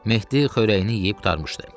Mehdi xörəyini yeyib qurtarmışdı.